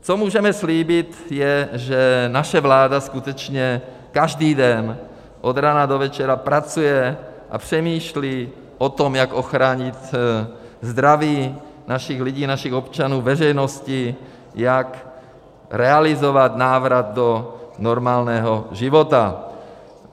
Co můžeme slíbit, je, že naše vláda skutečně každý den od rána do večera pracuje a přemýšlí o tom, jak ochránit zdraví našich lidí, našich občanů, veřejnosti, jak realizovat návrat do normálního života.